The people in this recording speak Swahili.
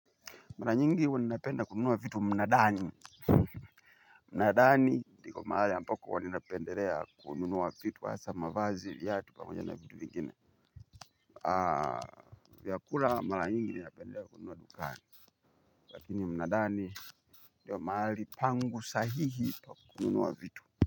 Mara nyingi huwa ninapenda kununua vitu mnadani. Mnadani ndiko mahali ambako ninapendelea kununua vitu hasa mavazi viatu pamoja na vitu vingine. Vyakula mara nyingi ninapendelea kununua dukani. Lakini mnadani ndiyo mahali pangu sahihi pa kununuwa vitu.